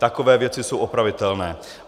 Takové věci jsou opravitelné.